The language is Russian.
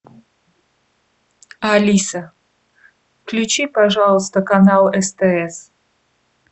алиса включи пожалуйста канал стс